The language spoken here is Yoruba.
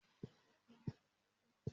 Ìtẹ́ẹ̀dí ni mo lò fún àkọ́bí obìnrin mi